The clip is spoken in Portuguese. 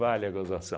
Vale a gozação.